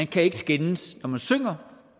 kan skændes når man synger